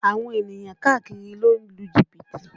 Àwọn ènìyàn káàkiri ló ń lu jìbìtì